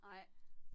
Nej